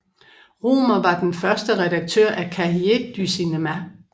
Rohmer var den første redaktør af Cahiers du Cinema